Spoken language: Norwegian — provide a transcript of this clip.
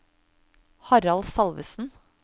Harald Salvesen